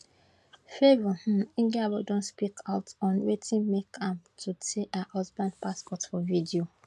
favour um igiebor don speak out on wetin make am to tear her husband passport for video